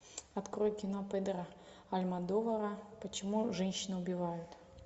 открой кино педро альмодовара почему женщины убивают